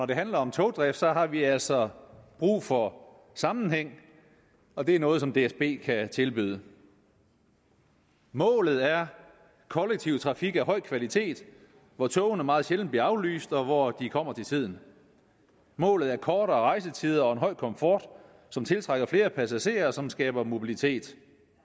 det handler om togdrift har vi altså brug for sammenhæng og det er noget som dsb kan tilbyde målet er kollektiv trafik af høj kvalitet hvor togene meget sjældent bliver aflyst og hvor de kommer til tiden målet er kortere rejsetider og en høj komfort som tiltrækker flere passagerer og som skaber mobilitet